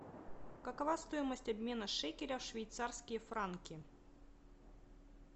какова стоимость обмена шекеля в швейцарские франки